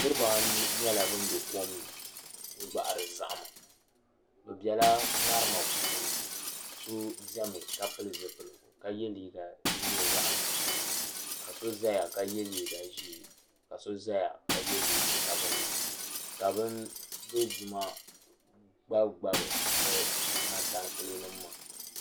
Niriba anu nyɛla ban be kom ni n-gbahiri zahima bɛ bela ŋarima puuni so zami ka pili zupiligu ka ye liiga din nyɛ zaɣ' nuɣisili ka so zaya ka ye liiga ʒee ka so zaya ka ye liiga sabinli ka bin dozim gbabi gbabi bɛ mantankele nima maa.